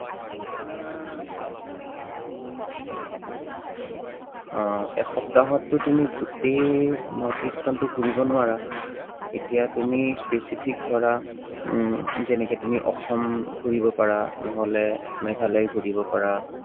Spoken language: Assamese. আহ এসপ্তাহতটো তুমি গোটেই north east খনটো ঘূৰিব নোৱাৰা। এতিয়া তুমি specific ধৰা উম যেনেকে তুমি অসম ঘূৰিব পাৰা নহলে মেঘালয় ঘূৰিব পাৰা।